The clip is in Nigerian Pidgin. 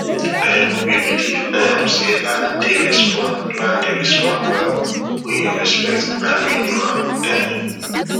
um we believe um say land dey respond land dey respond well when you respect and renew am um